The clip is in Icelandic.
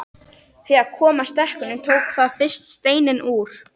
Þegar kom að stekknum tók þó fyrst steininn úr.